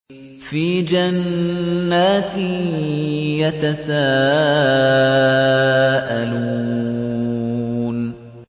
فِي جَنَّاتٍ يَتَسَاءَلُونَ